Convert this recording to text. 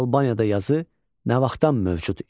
Albaniyada yazı nə vaxtdan mövcud idi?